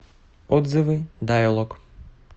отзывы дайлог